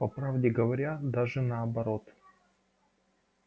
по правде говоря даже наоборот